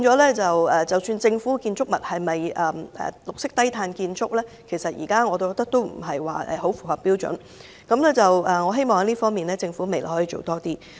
我認為政府建築物應該屬於綠色低碳建築，但現時並不太符合標準，我希望政府未來在這方面多做一點。